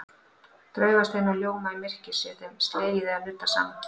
Draugasteinar ljóma í myrkri sé þeim slegið eða nuddað saman.